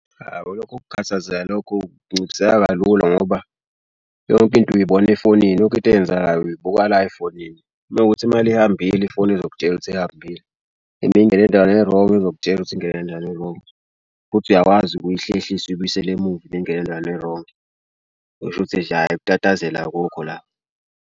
Awu lokho kukhathazeka lokho kunciphiseka kalula ngoba yonke into uyibona efonini yonke into eyenzakalayo uyibuka la efonini. Uma kuwukuthi imali ihambile ifoni izokutshela ukuthi ihambile. Uma ingene endaweni e-wrong izokutshela ukuthi ingene kanjani e-wrong. Futhi uyakwazi ukuyihlehlisa uyibuyisele emuva uma ingene endaweni e-wrong. Kusho ukuthi ukutatazela akukho la.